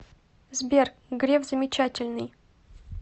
сбер греф замечательный